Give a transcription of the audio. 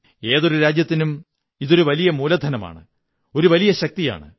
ഏതൊരു രാജ്യത്തിനും ഇതൊരു വലിയ മൂലധനമാണ് ഒരു വലിയ ശക്തിയാണ്